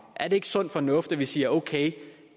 er det ikke sund fornuft at vi siger at